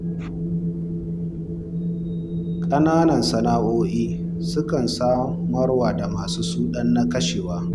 Ƙananan sana'o'i sukan samarwa da masu su ɗan na kashewa.